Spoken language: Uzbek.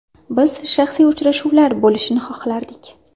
Biz shaxsiy uchrashuvlar bo‘lishini xohlardik.